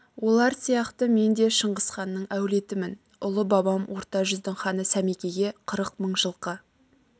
олар сияқты мен де шыңғыс ханның әулетімін ұлы бабам орта жүздің ханы сәмекеге қырық мың жылқы